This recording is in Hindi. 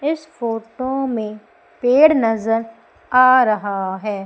इस फोटो में पेड़ नज़र आ रहा है।